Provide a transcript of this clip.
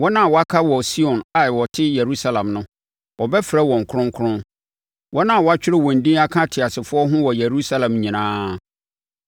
Wɔn a wɔaka wɔ Sion a wɔte Yerusalem no, wɔbɛfrɛ wɔn kronkron, wɔn a wɔatwerɛ wɔn din aka ateasefoɔ ho wɔ Yerusalem nyinaa.